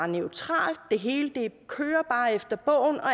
neutralt at det hele kører efter bogen og